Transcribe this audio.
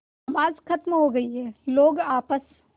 नमाज खत्म हो गई है लोग आपस